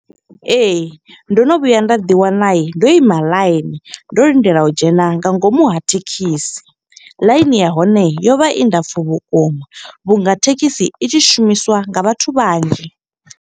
Ee, ndo no vhuya nda ḓi wana ndo ima ḽaini, ndo lindela u dzhena nga ngomu ha thekhisi. Ḽaini ya hone yo vha i ndapfu vhukuma, vhunga thekhisi i tshi shumiswa nga vhathu vhanzhi.